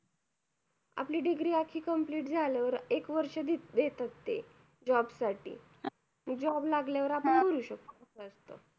आपली degree अशी degree झाल्यावर एक वर्ष देतात ते. job साठी job लागल्यावर आपण भरू शकतो.